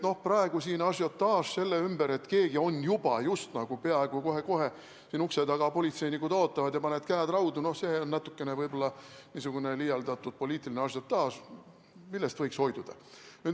Nii et see, et kohe-kohe siin ukse taga politseinikud ootavad ja panevad käed raudu, on natukene võib-olla liialdatud poliitiline ažiotaaž, millest võiks hoiduda.